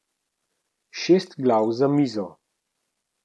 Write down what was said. Šest glav za mizo.